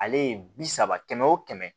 Ale ye bi saba kɛmɛ o kɛmɛ